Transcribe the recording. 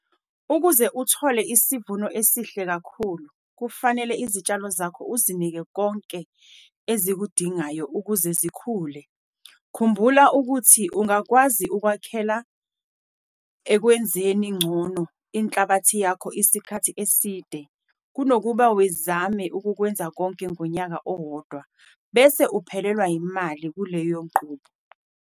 Ukuze uthole isivuno esihle kakhulu, kufanele izintshalo zakho uzinike konke ezikudingayo ukuze zikhule. Khumbula ukuthi ungakwazi ukwakhela ekwenzeni ngcono inhlabathi yakho isikhathi eside kunokuba wezame ukukwenza konke ngonyaka owodwa bese uphelelwa yimali kuleyo nqubo.